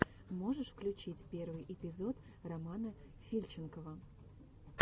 можешь включить первый эпизод романа фильченкова